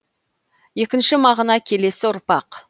екінші мағына келесі ұрпақ